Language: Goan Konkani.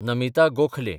नमिता गोखले